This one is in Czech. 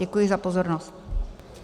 Děkuji za pozornost.